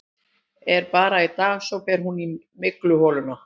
En bara í dag, svo fer hún í mygluholuna.